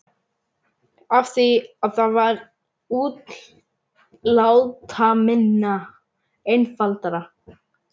Af því að það var útlátaminna, einfaldara.